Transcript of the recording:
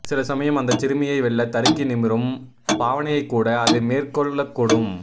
சில சமயம் அந்தச் சிறுமையை வெல்ல தருக்கி நிமிரும் பாவனையைகூட அது மேற் கொள்ளக்கூடும்